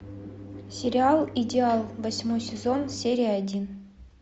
сериал идеал восьмой сезон серия один